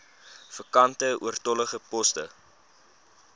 vakante oortollige poste